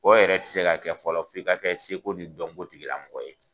O yɛrɛ tɛ se ka kɛ fɔlɔ f'i ka kɛ seko ni dɔnko tigi lamɔgɔ ye.